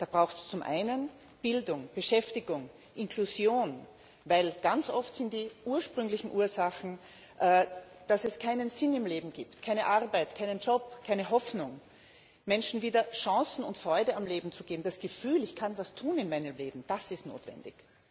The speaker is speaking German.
Das bedarf zum einen Bildung, Beschäftigung, Inklusion, denn ganz oft liegen die Ursachen darin, dass es keinen Sinn im Leben gibt, keine Arbeit, keinen Job, keine Hoffnung. Menschen wieder Chancen und Freude am Leben zu geben, das Gefühl, ich kann etwas tun in meinem Leben, das ist notwendig.